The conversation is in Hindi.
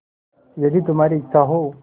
यदि तुम्हारी इच्छा हो